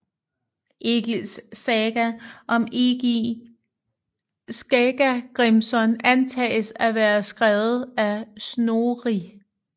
Egils saga om Egil Skallagrimson antages at være skrevet af Snorri